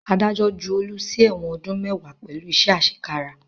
Adájọ́ ju Olu sí ẹ̀wọ̀n ọdún mẹ́wàá pẹ̀lú iṣẹ́ àṣekára